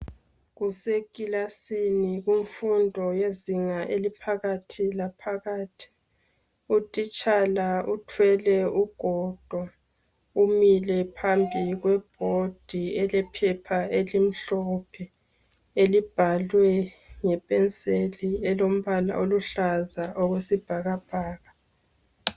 Kusekilasini kumfundo yezinga eliphakathi laphakathi utitshala uthwele ugodo umile phambi kwebhodi elephepha elimhlophe elibhalwe ngepenseli eluhlaza okwesibhakabhaka.